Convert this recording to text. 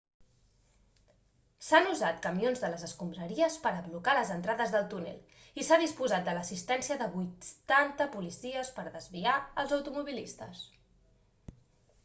s'han usat camions de les escombraries per a blocar les entrades del túnel i s'ha disposat de l'assistència de 80 policies per a desviar els automobilistes